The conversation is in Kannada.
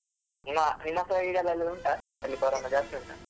ನಿಮ್ಮ ನಿಮ್ಮ side ಅಲ್ಲಿ ಎಲ್ಲ ಉಂಟಾ ಅಲ್ಲಿ corona ಜಾಸ್ತಿ ಉಂಟಾ?